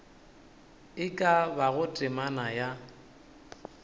e ka bago temana ya